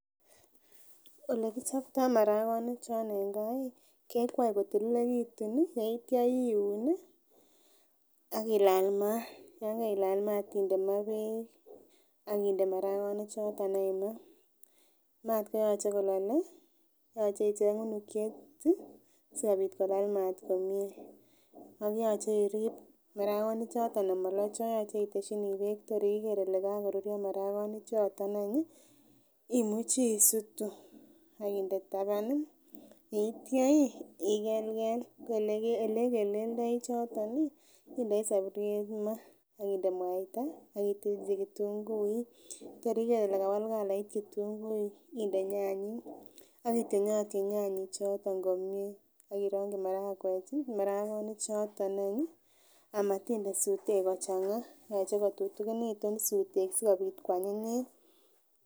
Olekichoptoo marakonik chon en gaa kekwoe kotililekitun ih ak yitya iun ih ak ilal maat yan keilal maat inde maa beek ak inde marakonik choton any maa, maat koyoche kolole yoche icheng unukiet ih sikobit kolal maat komie ak yoche irib marakonik choton amolocho yoche itesyini beek tor iker kole kakoruryo marakonik choton any ih imuche isutu ak inde taban ih yeitya ih ikelkel ko elekelkeldoi choton ih indoi soburiet maa ak inde mwaita ak itilchi ketunguik tor iker ile kawal calait ketunguik inde nyanyik ak ityony atyony nyanyik choton komie ak irongyi marakwek ih marakonik choton any ih amotinde sutek kochang'a yoche kotutunikitun sutek sikobit koanyinyit